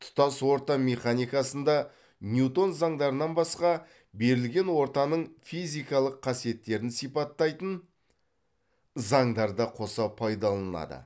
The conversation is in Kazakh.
тұтас орта механикасында ньютон заңдарынан басқа берілген ортаның физикалық қасиеттерін сипаттайтын заңдар да қоса пайдаланылады